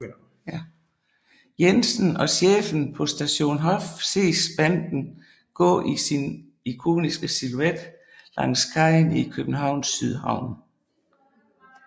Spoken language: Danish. Jensen og Chefen på Station Hof ses banden gå i sin ikoniske silhuet langs kajen i Københavns Sydhavn